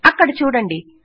అక్కడ చూడండి